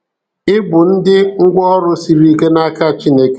Ị bụ ndị ngwáọrụ sịrị ike naka Chineke.